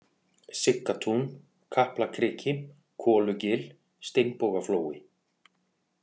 Siggatún, Kaplakriki, Kolugil, Steinbogaflói